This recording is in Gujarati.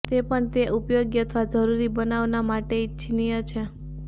તે પણ તે ઉપયોગી અથવા જરૂરી બનાવવા માટે ઇચ્છનીય છે